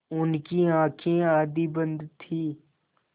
उनकी आँखें आधी बंद थीं